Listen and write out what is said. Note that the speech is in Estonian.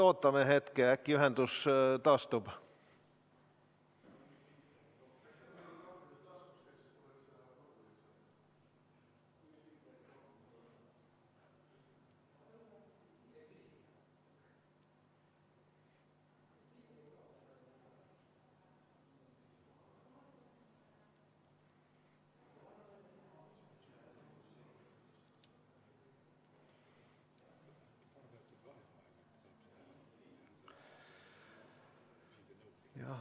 Ootame hetke, äkki ühendus taastub.